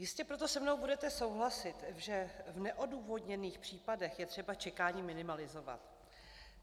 Jistě proto se mnou budete souhlasit, že v neodůvodněných případech je třeba čekání minimalizovat.